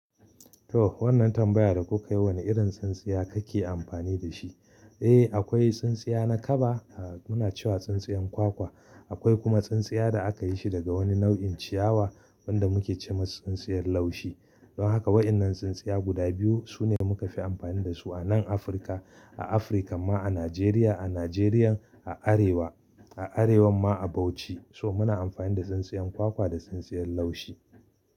To wannan tambayar da kuka yi wane irin tsintsiya kake amfani da shi? Eh akwai tsintsiya na kaba muna cewa tsintsiyar kwakwa. Akwai kuma tsintsiya da aka yi shi daga wani nau'in ciyawa wanda muke ce masa tsintsiyar laushi. Don haka waɗannan tsintsiya guda biyu su ne muka fi amfani da su a nan Afirka. A Afirka ma a Nijeriya, a Nijeriya a Arewa, a arewa ma a Bauchi so muna amfani da tsintsiyar kwakwa da tsintsiyar laushi.